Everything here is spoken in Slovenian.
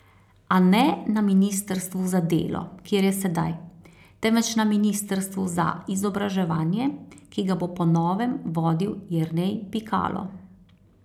A ne na ministrstvu za delo, kjer je sedaj, temveč na ministrstvu za izobraževanje, ki ga bo po novem vodil Jernej Pikalo.